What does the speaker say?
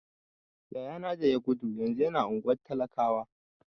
Yaya na da ya gudu yanzu yana unguwar talakawa.